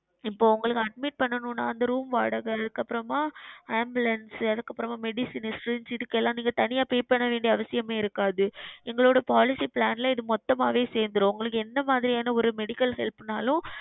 இப்பொழுது உங்களுக்கு Admit செய்யனும் அந்த Room வாடகை அதுக்கு அப்புறமாக Ambulence அதுக்கு அப்புறமாக Medicines இதுக்கு எல்லாம் நீங்கள் தனியாக செய்ய வேண்டிய அவசியம் இருக்காது எங்களுடைய Policy Plan லியே இது மொத்தமாகவே சேர்ந்துவிடும் உங்களுக்கு எந்த மாதிரியான ஓர் Medical Help னாலும்